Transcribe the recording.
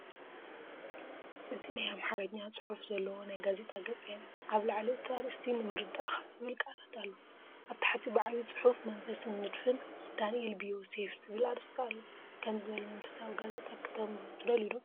እዚ ናይ ኣምሓርኛ ጽሑፍ ዘለዎ ናይ ጋዜጣ ገጽ የርኢ። ኣብ ላዕሊ እቲ ኣርእስቲ፡ “ንምርዳእካ” ዚብል ቃላት ኣሎ። ኣብ ታሕቲ ብዓቢ ጽሑፍ “መንፈስን ንድፍን ዳኒኤል ቢ ዮሴፍ” ዝብል ኣርእስቲ ኣሎ። ከምዚ ዝበለ መንፈሳዊ ጋዜጣ ከተንብቡ ትደልዩ ዶ?